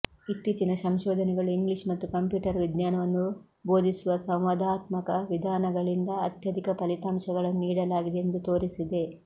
ಇತ್ತೀಚಿನ ಸಂಶೋಧನೆಗಳು ಇಂಗ್ಲಿಷ್ ಮತ್ತು ಕಂಪ್ಯೂಟರ್ ವಿಜ್ಞಾನವನ್ನು ಬೋಧಿಸುವ ಸಂವಾದಾತ್ಮಕ ವಿಧಾನಗಳಿಂದ ಅತ್ಯಧಿಕ ಫಲಿತಾಂಶಗಳನ್ನು ನೀಡಲಾಗಿದೆ ಎಂದು ತೋರಿಸಿದೆ